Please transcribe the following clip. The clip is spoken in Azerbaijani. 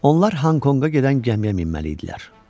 Onlar Honkonga gedən gəmiyə minməli idilər.